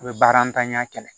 A bɛ baara ntanya kɛlɛ